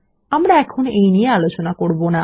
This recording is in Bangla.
আমরা এখন এই নিয়ে আলোচনা করব না